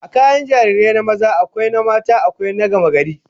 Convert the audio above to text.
Akwai kayan jarirai na maza, akwai na mata, akwai na gamagari